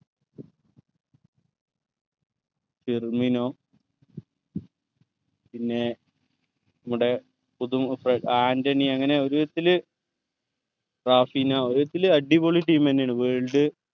Firmino പിന്നെ നമ്മുടെ പുതുമുഖം ഫ ആന്റണി അങ്ങനെ ഒരു ഇതിൽ റാഫിനോ ഒരു ഇതിൽ അടിപൊളി team എന്നെയാണ് world